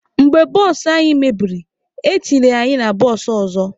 Mgbe bụsụ anyị mebiri, etinyere anyị na bụsụụ ọzọ.